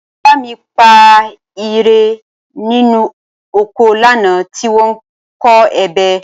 Bàbá mi pa ìrẹ̀ nínú oko lánàá tí wọ́n ń kọ ebè